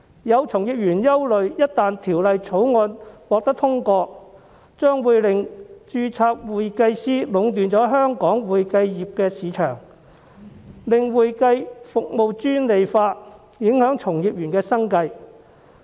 有從業員憂慮，一旦《條例草案》獲得通過，將會令註冊會計師壟斷香港會計業市場，令會計服務專利化，從而影響從業員生計。